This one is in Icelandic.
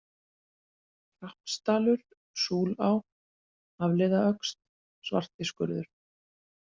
Hrappsdalur, Súlá, Hafliðaöxl, Svartiskurður